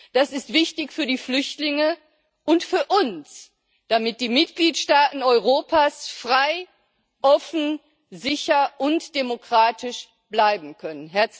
Das ist wichtig für die Flüchtlinge und für uns, damit die Mitgliedstaaten Europas frei, offen, sicher und demokratisch bleiben können.